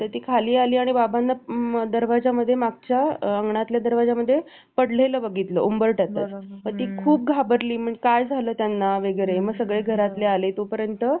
पडलेलं बघितलं उंबरठ्यातच ती खूप घाबरली म्हणजे काय झालं त्यांना वेगळे मग सगळे घरातले आले तोपर्यंत